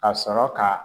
Ka sɔrɔ ka